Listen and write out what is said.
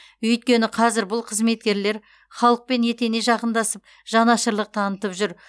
өйткені қазір бұл қызметкерлер халықпен етене жақындасып жанашырлық танытып жүр